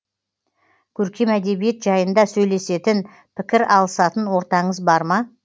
көркем әдебиет жайында сөйлесетін пікір алысатын ортаңыз бар ма